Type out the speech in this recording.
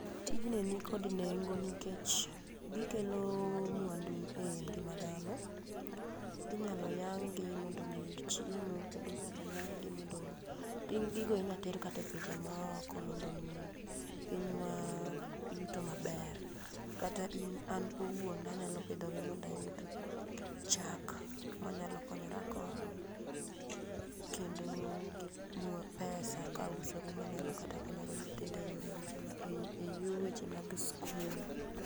Tijni nikod nengo nikech gikelo mwandu ei ngima dhano. Inyalo yang'gi mondo ji oyud chiemo kendo inyalo yang' gi mondo ring gi go inyalo ter kata e pinje maoko mondo omi pinywa yuto maber, kata in an awuon anyalo pidhogi mondo ayud chak manyalo konyorago kendo gi pesa kausogi ma anyalo kata konyo go nyithindo eyore goeko eyor weche mag sikul.